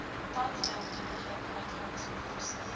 tandheelkundige uitgawes onkoste